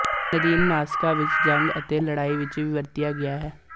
ਨਦੀਨਨਾਸ਼ਕਾਂ ਵਿਚ ਜੰਗ ਅਤੇ ਲੜਾਈ ਵਿਚ ਵੀ ਵਰਤਿਆ ਗਿਆ ਹੈ